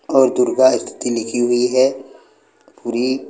और दुर्गा स्तुति लिखी हुई है पुरी--